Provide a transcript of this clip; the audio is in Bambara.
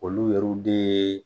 Olu yɛriw de